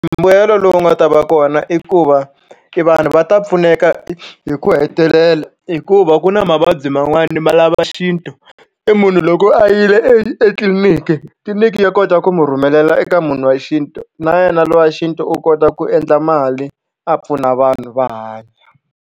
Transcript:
Mbuyelo lowu nga ta va kona i ku va i va vanhu va ta pfuneka hi ku hetelela hikuva ku na mavabyi man'wani ma lava xintu i munhu loko a yile e etliliniki, tliliniki ya kota ku mu rhumelela eka munhu wa xintu na yena lowa xintu u kota ku endla mali a pfuna vanhu va hanya.